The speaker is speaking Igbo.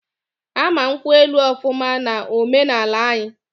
Ama nkwu elu ofuma na ome na ala anyii